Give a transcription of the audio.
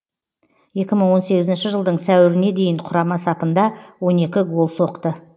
екі мың он сегізінші жылдың сәуіріне дейін құрама сапында он екі гол соқты